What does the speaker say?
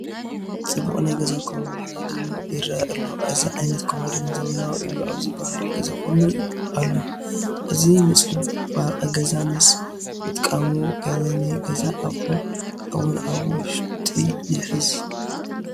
ፅቡቕ ናይ ገዛ ኮማዲኖ ይርአ ኣሎ፡፡ እዚ ዓይነት ኮማዲና ዘመናዊ እዩ ኣብ ዝበሃል ገዛ ኹሉ ኣሎ፡፡ እዚ ንፅባቐ ገዛ ምስ ምጥቃሙ ገለ ናይ ገዛ ኣቑሑ እውን ኣብ ውሽጢ ይሕዝ፡፡